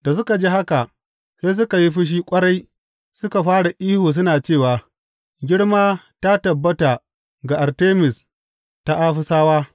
Da suka ji haka, sai suka yi fushi ƙwarai suka fara ihu suna cewa, Girma ta tabbata ga Artemis ta Afisawa!